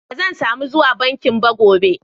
Ban zan samu zuwa bankin ba gobe.